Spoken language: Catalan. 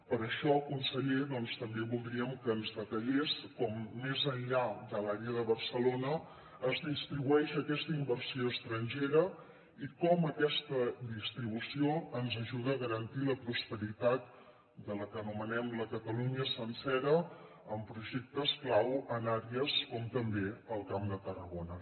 per això conseller també voldríem que ens detallés com més enllà de l’àrea de barcelona es distribueix aquesta inversió estrangera i com aquesta distribució ens ajuda a garantir la prosperitat de la que anomenem la catalunya sencera amb projectes clau en àrees com també el camp de tarragona